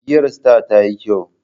Giyar star tayi kyau